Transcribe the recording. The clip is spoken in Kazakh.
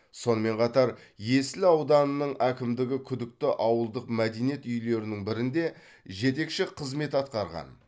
сонымен қатар есіл ауданының әкімдігі күдікті ауылдық мәдениет үйлерінің бірінде жетекші қызмет атқарған